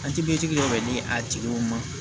An tibintigi dɔ bɛ di a tigiw ma